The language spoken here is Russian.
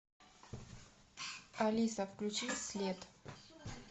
алиса включи след